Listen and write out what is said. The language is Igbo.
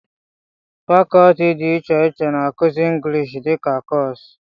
fàkọọtị dị iche iche na-akụzi engịlịshị dika kọọsụ